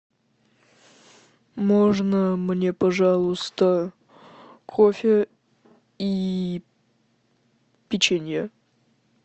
можно мне пожалуйста кофе и печенье